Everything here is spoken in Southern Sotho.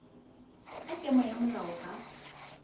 ka kemo ya moloa ha